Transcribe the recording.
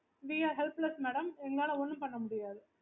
okay